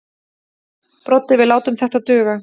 Broddi: Við látum þetta duga.